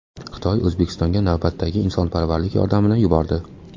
Xitoy O‘zbekistonga navbatdagi insonparvarlik yordamini yubordi.